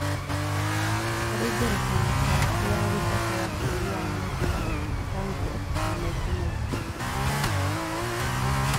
harĩ ngerekano karati ya gĩthaka ya bũrũri wa Amerika, ragwort na mangĩ maingĩ